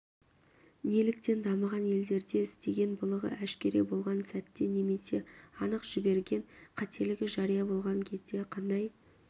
неліктен дамыған елдерде істеген былығы әшкере болған сәтте немесе анық жіберген қателігі жария болған кезде қандай